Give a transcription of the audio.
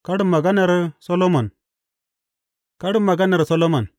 Karin maganar Solomon Karin maganar Solomon.